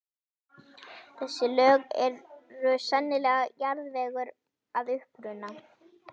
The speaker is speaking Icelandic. Þessi lög eru sennilega jarðvegur að uppruna.